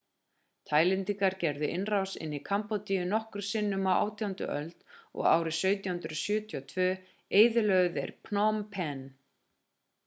taílendingar gerðu innrás inn í kambódíu nokkrum sinnum á 18. öld og árið 1772 eyðilögðu þeir phnom phen